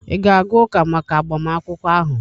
ị ga-aga ụka maka agbamakwụkwọ ahụ?